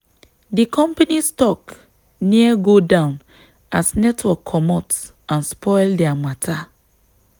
the company stock near go down as network commot and spoil their matter.